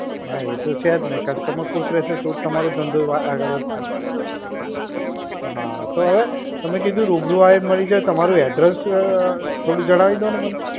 હા એ તો છે જ ને customer ખુશ રહેશે તો જ તમારો ધંધો આગળ વધશે. હા, હવે તમે કીધું રૂબરૂ આવીને મળી જાવ. તમારું address થોડું જણાવી દો ને મને.